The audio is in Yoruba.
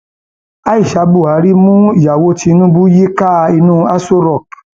aisha buhari mú ìyàwó tinubu yíká yíká inú aṣọ rock